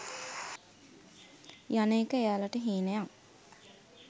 යන එක එයාලට හීනයක්